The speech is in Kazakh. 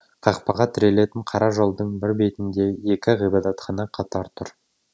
қақпаға тірелетін қара жолдың бір бетінде екі ғибадатхана қатар тұр